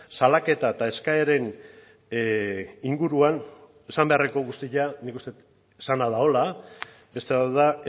salaketa eta eskaeren inguruan esan beharreko guztia nik uste dut esana dagoela beste bat da